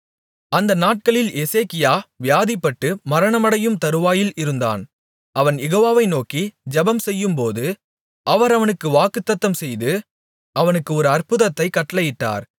அந்த நாட்களில் எசேக்கியா வியாதிப்பட்டு மரணமடையும்தருவாயில் இருந்தான் அவன் யெகோவாவை நோக்கி ஜெபம்செய்யும்போது அவர் அவனுக்கு வாக்குத்தத்தம்செய்து அவனுக்கு ஒரு அற்புதத்தைக் கட்டளையிட்டார்